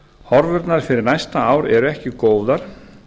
horfurnar fyrir næsta ár eru ekki góðar